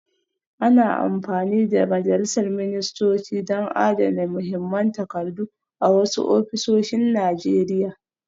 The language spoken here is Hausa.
Ana amfani da majalisar ministocin don adana muhimman takardu a wasu ofisoshin Najeriya